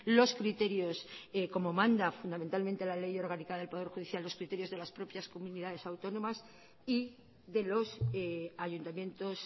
los criterios como manda fundamentalmente la ley orgánica del poder judicial los criterios de las propias comunidades autónomas y de los ayuntamientos